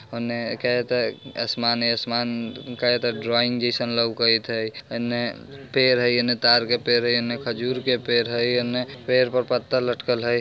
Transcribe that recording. उने कहे ते आसमाने-आसमान ऊ कहे ते ड्राइंग जैसे लौकत हई इने पेड़ हई इने ताड़ के पेड़ हई इने खजूर के पेड़ हई इने पेड़ पर पत्ता लटकल हई।